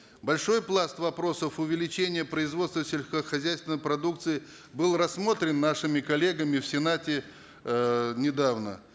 большой пласт вопросов увеличения производства сельскохозяйственной продукции был рассмотрен нашими коллегами в сенате эээ недавно